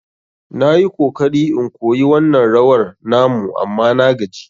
Na yi kokari in koyi wannan rawar na mu amma na gaji.